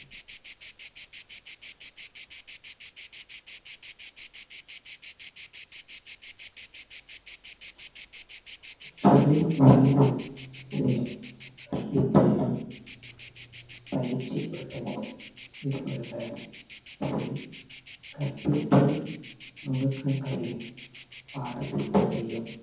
தொழில் முறையிலும் சரி கற்பித்தளிலும் பயிற்சி கொடுப்பதிலும் ஈடுபடுவர் இதில் கற்பித்தல் நுணுக்கங்களையும் பாடத்திட்டத்தையும்